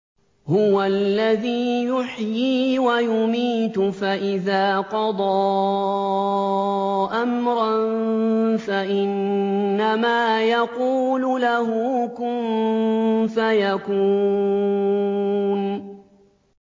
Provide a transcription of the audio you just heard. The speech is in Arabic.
هُوَ الَّذِي يُحْيِي وَيُمِيتُ ۖ فَإِذَا قَضَىٰ أَمْرًا فَإِنَّمَا يَقُولُ لَهُ كُن فَيَكُونُ